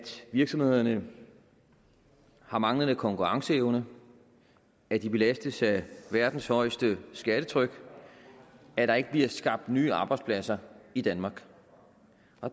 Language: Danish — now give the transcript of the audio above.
virksomhederne har manglende konkurrenceevne at de belastes af verdens højeste skattetryk at der ikke bliver skabt nye arbejdspladser i danmark